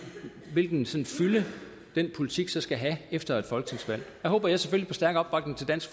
hvilken fylde den politik så skal have efter et folketingsvalg der håber jeg selvfølgelig på stærk opbakning til dansk